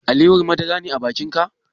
Alewar madara ne a bakin ka?